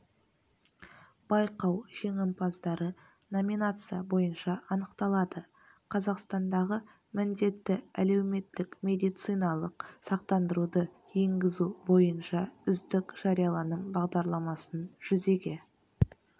байқау жеңімпаздары номинация бойынша анықталады қазақстандағы міндетті әлеуметтік медициналық сақтандыруды енгізу бойынша үздік жарияланым бағдарламасын жүзеге